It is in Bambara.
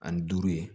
Ani duuru ye